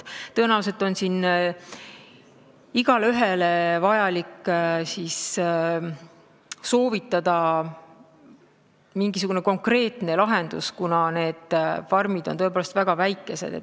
Tõenäoliselt on igaühele vaja soovitada mingisugune konkreetne lahendus, kuna need farmid on tõepoolest väga väikesed.